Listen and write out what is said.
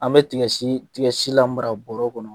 An bɛ tigasi lamara bɔrɛ kɔnɔ